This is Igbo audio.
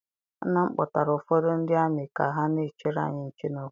Nna m kpọtara ụfọdụ ndị amị ka ha na-echere anyị nche n'obodo.